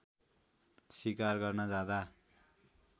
सिकार गर्न जाँदा